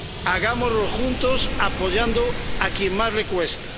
Hagámoslo juntos apoyando a quien más le cuesta.